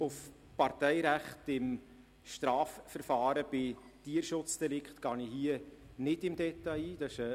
Auf das Parteirecht im Strafverfahren bei Tierschutzdelikten gehe ich hier nicht im Detail ein.